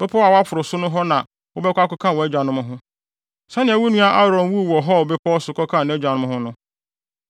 Bepɔw a woaforo no so hɔ na wobɛkɔ akɔka wʼagyanom ho, sɛnea wo nua Aaron wuu wɔ Hor bepɔw so kɔkaa nʼagyanom ho no.